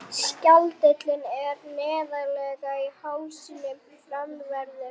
Skjaldkirtillinn er neðarlega í hálsinum framanverðum.